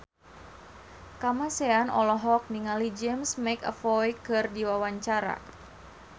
Kamasean olohok ningali James McAvoy keur diwawancara